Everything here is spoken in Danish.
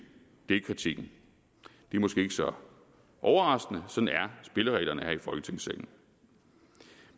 det er kritikken det er måske ikke så overraskende sådan er spillereglerne her i folketingssalen